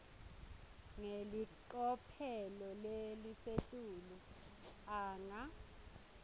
ngelicophelo lelisetulu anga